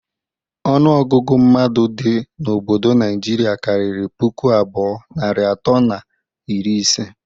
Ọnụ ọgụgụ mmadụ dị n'obodo Najiri kariri puku abụọ, narị atọ na iri ise.